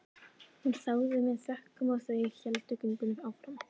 Hún þáði það með þökkum og þau héldu göngunni áfram.